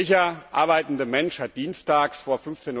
Welcher arbeitende Mensch hat dienstags vor